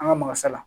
An ka makasa la